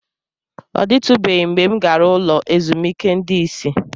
Ọ dịtụbeghị mgbe m gara ụlọ ezumike ndị isi.